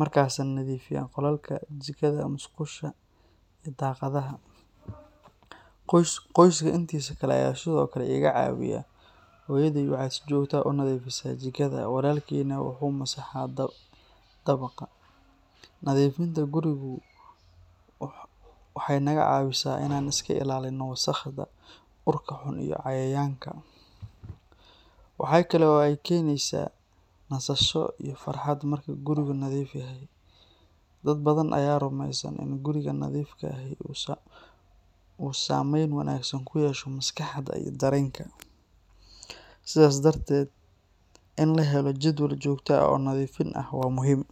markaasaan nadiifiyaa qolalka, jikada, musqusha, iyo daaqadaha. Qoyska intiisa kale ayaa sidoo kale iga caawiya. Hooyaday waxay si joogto ah u nadiifisaa jikada, walaalkayna wuxuu masaxaa dabaqa. Nadiifinta gurigu waxay naga caawisaa inaan iska ilaalinno wasakhda, urka xun, iyo cayayaanka. Waxa kale oo ay keenaysaa nasasho iyo farxad marka gurigu nadiif yahay. Dad badan ayaa rumaysan in guriga nadiifka ahi uu saameyn wanaagsan ku yeesho maskaxda iyo dareenka. Sidaas darteed, in la helo jadwal joogto ah oo nadiifin ah waa muhiim.